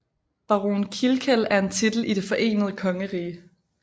Baron Kilkeel er en titel i Det Forenede Kongerige